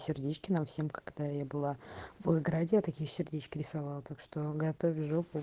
сердечки нам всем когда я была в волгограде я такие сердечки рисовала так что готовь жопу